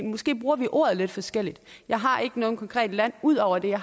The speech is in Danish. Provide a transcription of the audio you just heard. måske bruger ordet lidt forskelligt jeg har ikke noget konkret land ud over det jeg